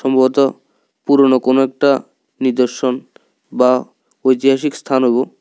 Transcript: সম্ভবত পুরনো কোন একটা নিদর্শন বা ঐতিহাসিক স্থানুগো।